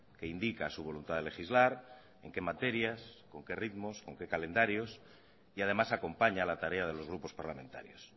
que indica su voluntad de legislar en qué materias con qué ritmos con qué calendarios y además acompaña la tarea de los grupos parlamentarios